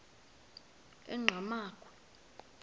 enqgamakhwe